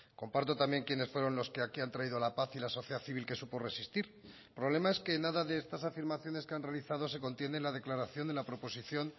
comparto también quiénes fueron los que aquí han traído la paz y la sociedad civil que supo resistir el problema es que nada de estas afirmaciones que han realizado se contiene en la declaración de la proposición